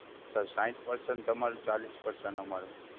Sir સાહીઠ percent તમારું અને ચાલીસ percent અમારું.